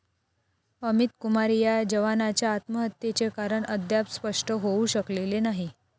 अमित कुमार या जवानाच्या आत्महत्येचे कारण अद्याप स्पष्ट होऊ शकलेले नाही.